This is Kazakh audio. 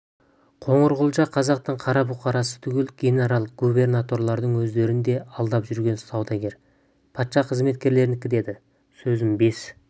қоңырқұлжа қазақтың қара бұқарасы түгіл генерал-губернаторлардың өздерін де алдап жүрген саудагер патша қызметкерлерінікі деді сөзін бес